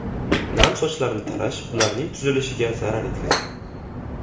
Nam sochlarni tarash ularning tuzilishiga zarar yetkazadi.